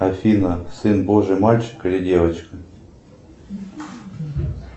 афина сын божий мальчик или девочка